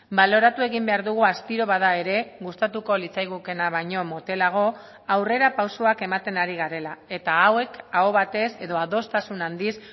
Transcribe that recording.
baloratu egin behar dugu astiro bada ere gustatuko litzaigukeena baino motelago aurrerapausoak ematen ari garela eta hauek aho batez edo adostasun handiz